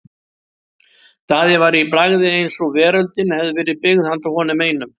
Daði var í bragði eins og veröldin hefði verið byggð handa honum einum.